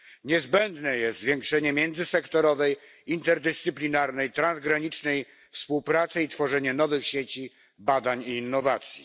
Niezbędne jest zwiększenie międzysektorowej, interdyscyplinarnej, transgranicznej współpracy i tworzenie nowych sieci badań i innowacji.